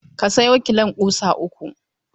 Ka sayo kilon ƙusa uku.